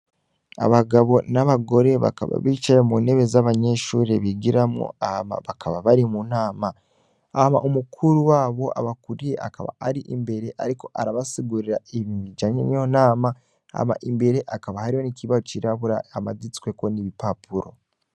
Abagabo n'abagore bakaba bicaye mu ntebe z'abanyeshurie bigiramwo ama bakaba bari mu ntama ama umukuru wabo abakuriye akaba ari imbere, ariko arabasugurira ibibijanye niyo nama hama imbere akaba hariho n'ikibaho cirabura amaditsweko n'ibipapuro.